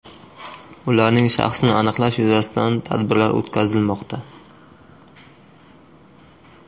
Ularning shaxsini aniqlash yuzasidan tadbirlar o‘tkazilmoqda.